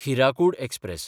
Hirakud express